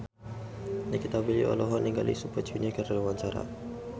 Nikita Willy olohok ningali Super Junior keur diwawancara